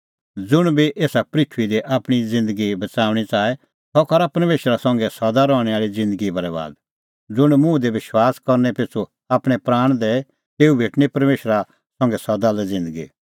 ज़ुंण आपणअ प्राण बच़ाऊंणअ च़ाहे सह करा तेता बरैबाद और ज़ुंण आपणअ प्राण खोए तेऊ डाहंणअ सह ज़िऊंदअ